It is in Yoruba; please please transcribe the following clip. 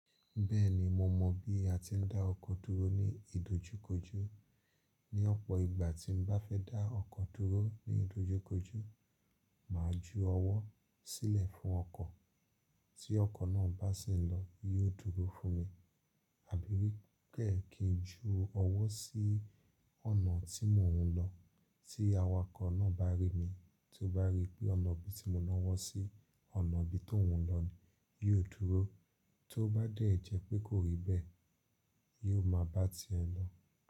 Bẹ́ẹ̀ni mo mọ̀ bí a ti ń dá ọkọ̀ dúró ní ìdojúkojó. Ni ọ̀pọ̀ ìgbà tí mo bá fẹ́ dá ọkọ̀ dúró ní ìdojúkojó, màá ju ọwọ́ sílẹ̀ fún ọkọ̀. Tí ọkọ̀ náà bá sì ń lọ, yóò dúró fún mi. Àbí kẹ̀ẹ́ kí n ju ọwọ́ sí ọ̀nà tí mò ń lọ, tí awakọ̀ náà bá rí mi, tí ó bá rí pé ọ̀nà bí tí mo ná ọwọ́ sí, ọ̀nà bí tó ń lọ ni, yi o dúró. Tí ó bá dẹ́ jẹ́ pé kò rí bẹ́ẹ̀, yóò máa bá ti ẹ́ lọ.